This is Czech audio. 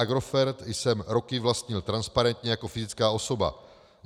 Agrofert jsem roky vlastnil transparentně jako fyzická osoba.